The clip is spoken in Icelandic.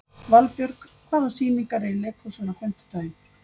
Valbjörg, hvaða sýningar eru í leikhúsinu á fimmtudaginn?